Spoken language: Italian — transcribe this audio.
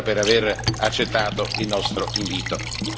Grazie ancora per aver accettato il nostro invito.